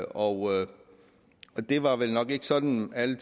overhovedet har det var vel nok ikke sådan at alle